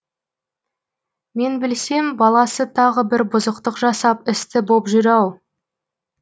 мен білсем баласы тағы бір бұзықтық жасап істі боп жүр ау